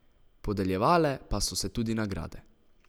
Podeljevale pa so se tudi nagrade.